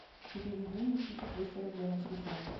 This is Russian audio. переведи никите триста рублей на телефон